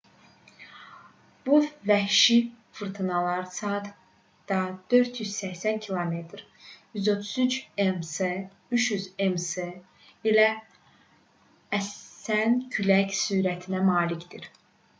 bu vəhşi fırtınalar saatda 480 km 133 m/s; 300 m/s ilə əsən külək sürətinə malikdir